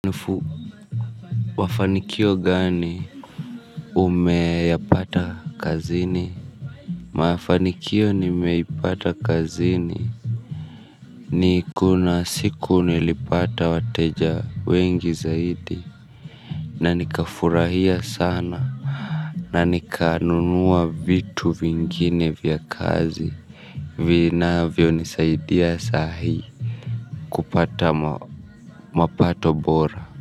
Nifu mafanikio gani umeyapata kazini. Mafanikio nimeipata kazini niko na siku nilipata wateja wengi zaidi. Na nika furahia sana. Na nikanunua vitu vingine vya kazi. Vinavyonisaidia sahi kupata mapato bora.